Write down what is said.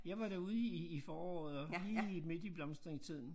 Jeg var derude i i foråret og lige midt i blomstringstiden